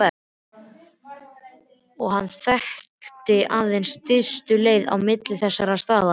Og hann þekkti aðeins stystu leiðina á milli þessara staða.